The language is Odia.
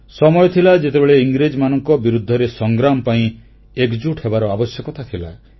ସମୟ ଥିଲା ଯେତେବେଳେ ଇଂରେଜମାନଙ୍କ ବିରୁଦ୍ଧରେ ସଂଗ୍ରାମ ପାଇଁ ଏକଜୁଟ ହେବାର ଆବଶ୍ୟକତା ଥିଲା